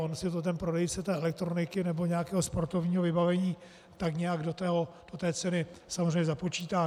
On si to ten prodejce té elektroniky nebo nějakého sportovního vybavení tak nějak do té ceny samozřejmě započítá.